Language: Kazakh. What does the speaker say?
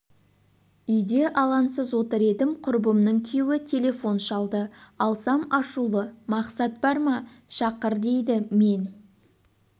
үйде алаңсыз отыр едім құрбымның күйеуі телефон шалды алсам ашулы мақсат бар ма шақыр дейді мен